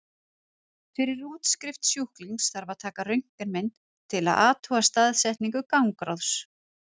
Fyrir útskrift sjúklings þarf að taka röntgenmynd til að athuga staðsetningu gangráðsins.